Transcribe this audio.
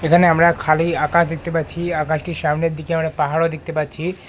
এখানে আমরা খালি আকাশ দেখতে পাচ্ছি আকাশ টির সামনের দিকে আমরা পাহাড়ও দেখতে পাচ্ছি।